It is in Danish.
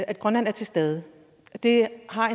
at grønland er til stede det har